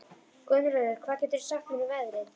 Gunnröður, hvað geturðu sagt mér um veðrið?